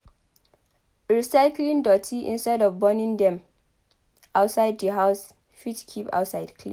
Recycling doti instead of burning dem outside the house fit keep outside clean